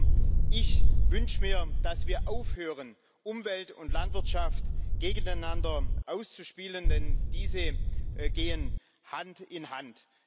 Also ich wünsche mir, dass wir aufhören, Umwelt und Landwirtschaft gegeneinander auszuspielen, denn diese gehen Hand in Hand.